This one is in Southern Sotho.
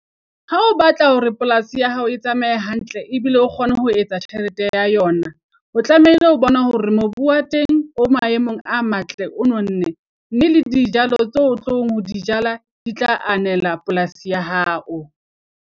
Ha o batla hore polasi ya hao e tsamaye hantle ebile o kgone ho etsa tjhelete ya yona. O tlamehile ho bona hore mobu wa teng o maemong a matle, o nonne mme le dijalo tse o tlong ho di jala di tla anela polasi ya hao.